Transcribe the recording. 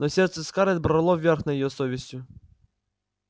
но сердце скарлетт брало верх над её совестью